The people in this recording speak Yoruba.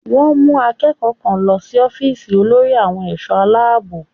Wọ́n mú akẹ́kọ̀ọ́ kan lọ sí ọ́fíìsì olórí àwọn ẹ̀ṣọ́ Aláàbò